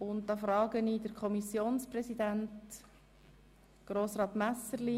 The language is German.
Möchte sich der Kommissionspräsident dazu äussern?